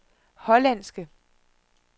hollandske